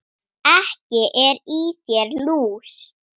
Ekki er í þér lús